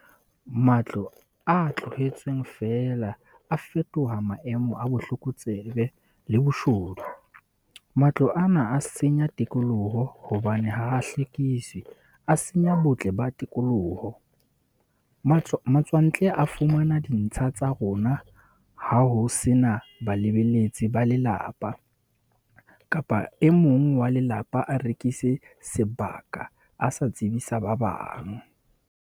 Matlo a tlohetsweng fela a fetoha maemo a bohlokotsebe le boshodu. Matlo ana a senya tikoloho hobane ha hlekiswe a senya botle ba tikoloho. Matswantle a fumana dintsha tsa rona, ha ho sena balebeletsi ba lelapa kapa e mong wa lelapa a rekise sebaka a sa tsebisa ba bang.